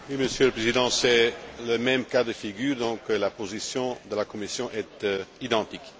Monsieur le Président, c'est le même cas de figure. Donc, la position de la Commission est identique.